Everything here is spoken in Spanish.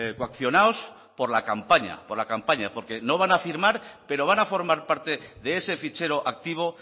coaccionados por la campaña por la campaña porque no van a firmar pero van a formar parte de ese fichero activo